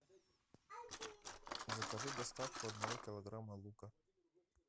закажи доставку одного килограмма лука